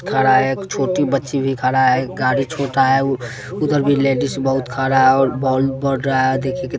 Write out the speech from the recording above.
खड़ा एक छोटी बच्ची भी खड़ा है एक गाड़ी छोटा है उ उधर भी लेडीज बहुत खड़ा है और बोल बड़ रहा है देखिये कि --